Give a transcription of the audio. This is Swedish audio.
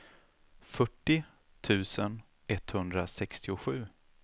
fyrtio tusen etthundrasextiosju